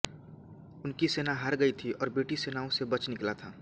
उनकी सेना हार गई थी और वह ब्रिटिश सेनाओं से बच निकला था